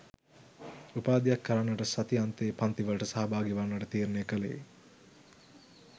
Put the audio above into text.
උපාධියක් කරන්නට සති අන්තයේ පන්ති වලට සහභාගි වන්නට තීරණය කළේ